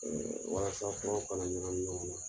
walasa furaw kana ɲagamin ɲɔgɔn na.